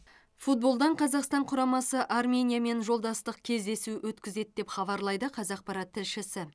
футболдан қазақстан құрамасы армениямен жолдастық кездесу өткізеді деп хабарлайды қазақпарат тілшісі